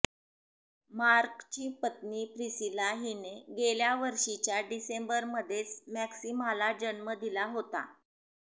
मार्कची पत्नी प्रिसिला हिने गेल्या वर्षीच्या डिसेंबरमध्येच मॅक्सिमाला जन्म दिला होता